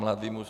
Mladý muž...